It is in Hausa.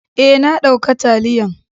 Eh, na dauka taliyan.